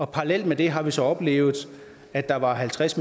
parallelt med det har vi så oplevet at der var halvtreds